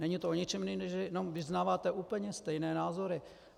Není to o ničem jiném než, že vyznáváte úplně stejné názory.